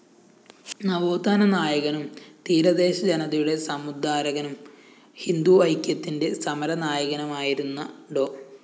നവോത്ഥാന നായകനും തീരദേശജനതയുടെ സമുദ്ധാരകനും ഹിന്ദുഐക്യത്തിന്റെ സമരനായകനുമായിരുന്ന ഡോ